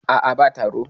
a a ba taro